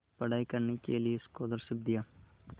पढ़ाई करने के लिए स्कॉलरशिप दिया